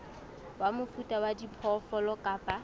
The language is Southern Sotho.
wa mofuta wa diphoofolo kapa